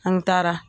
An taara